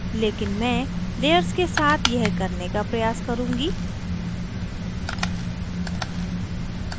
लेकिन मैं layers के साथ यह करने का प्रयास करुँगी